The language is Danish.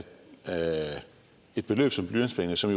et beløb som blyantspenge som